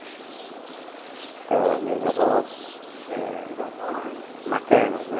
Então, meus avós eh... Os avós... Maternos, né?